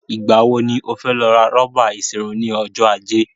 Ìgbà wo ni o fẹ́ lọ ra rọ́bà ìṣerun ni ọjọ́ Ajé?